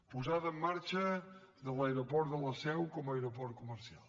posada en marxa de l’aeroport de la seu com a aeroport comercial